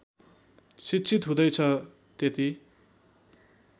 शिक्षित हुँदैछ त्यति